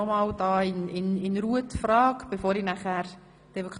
Ich rekapituliere die Abstimmungsfrage nochmals in Ruhe.